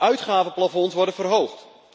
Uitgavenplafonds worden verhoogd.